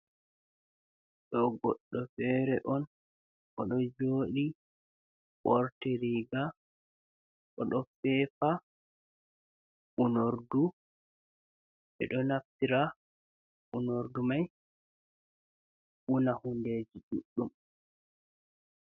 Ɗo goɗɗo fere on oɗo joɗi ɓorti riga, oɗo fefa unorɗu, ɓe ɗo naftira unorɗu mai una hunɗe ji ɗuɗɗum.